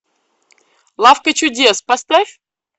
лавка чудес поставь